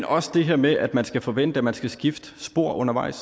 også det her med at man skal forvente at man skal skifte spor undervejs